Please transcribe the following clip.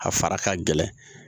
A fara ka gɛlɛn